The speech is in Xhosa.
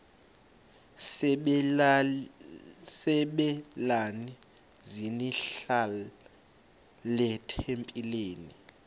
sabelani zenihlal etempileni